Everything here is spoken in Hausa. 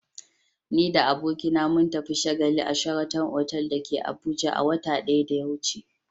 Ni da abokina mun tafi shagali a "sheraton" otal da ke Abuja a watan da ya wuce.